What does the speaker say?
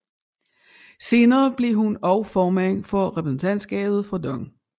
Senere blev hun også formand for repræsentantskabet for DONG